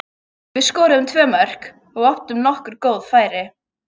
Við skoruðum tvö mörk og áttum nokkur góð færi.